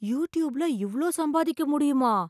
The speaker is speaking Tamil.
யூடியூப்ல இவ்ளோ சம்பாதிக்க முடியுமா!